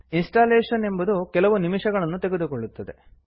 installation ಎಂಬುದು ಕೆಲವು ನಿಮಿಷಗಳನ್ನು ತೆಗೆದುಕೊಳ್ಳುತ್ತದೆ